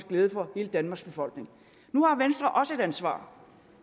glæde for hele danmarks befolkning nu har venstre også et ansvar